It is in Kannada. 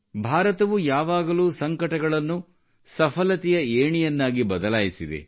ಭಾರತವು ಯಾವಾಗಲೂ ಸಂಕಟಗಳನ್ನು ಸಫಲತೆಯ ಏಣಿಯನ್ನಾಗಿ ಬದಲಾಯಿಸಿದೆ